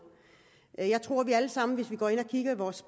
jeg tror at vi alle sammen hvis vi går ind og kigger i vores